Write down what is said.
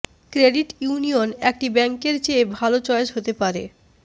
credit union একটি ব্যাংকের চেয়ে ভালো চয়েস হতে পারে